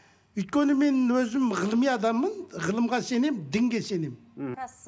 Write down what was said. өйткені мен өзім ғылыми адаммын ғылымға сенемін дінге сенемін мхм